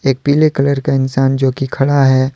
एक पीले कलर का इंसान जोकि खड़ा है।